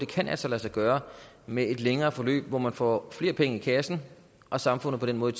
kan lade sig sig gøre med et længere forløb hvor man får flere penge i kassen og samfundet på den måde